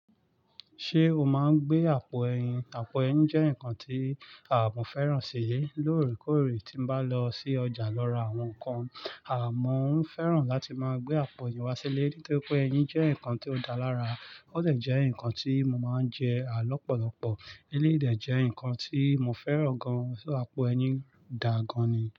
Ṣé o máa ń gbé àpò ẹyin? Àpò ẹyin jẹ́ nǹkan tí à mọ́ fẹ́ràn sí i lóòrèkóòrè tí n bá lọ sí ọjà lọ ra àwọn nǹkan. Àmọ́ ń fẹ́ràn láti máa gbé àpò ẹyin wá sí ilé nítorí pé ẹyin jẹ́ nǹkan tí ó dáa lára. Ó dẹ̀ jẹ́ nǹkan tí mo máa ń jẹ à lọ́pọ̀lọ́pọ̀. Eleyi dẹ̀ jẹ̀ nǹkan tí mo fẹ́ràn gan-an, ṣo àpò ẹyin dà gan-an ni.